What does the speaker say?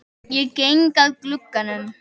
Ég geng að glugganum.